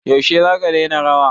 Yaushe zaka daina rawa?